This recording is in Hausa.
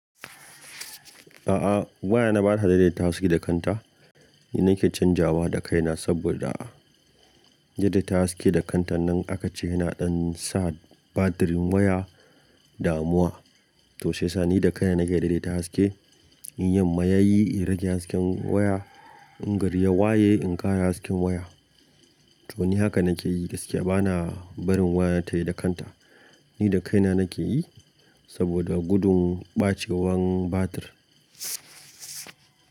A'a waya na bata daidaita haske da kanta. Ni nake canjawa da kaina saboda daidaita haske da kantan nan aka ce yana ɗan sa batirin waya damuwa. To sai yasa ni da kaina nake daidaita haske, in yamma yayi in rage hasken waya, in gari ya waye in ƙara hasken waya. To ni haka nake yi gaskiya bana barin waya tayi da kanta. Ni da kaina nake yi saboda gudun ɓacewan batir.